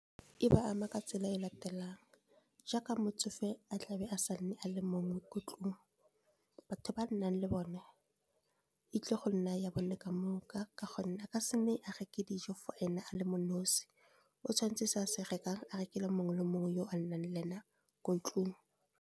E ba ama ka tsela e latelang, jaaka motsofe a tlabe a sa nne a le mongwe ko tlung. Batho ba a nnang le bone, e tlile go nna ya bone ka moka, ka gonne a ka se nne a reka dijo for ene a le mo nosi, o tshwantse se a se rekang a rekele mongwe le mongwe yo a nnang le e na ko tlung.